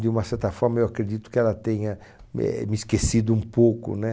De uma certa forma, eu acredito que ela tenha éh me esquecido um pouco né